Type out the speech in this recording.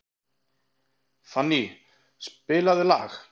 Fanny, spilaðu lag.